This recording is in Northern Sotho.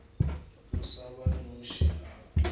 o sa ba noše a